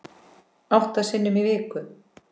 Átta sinnum í viku.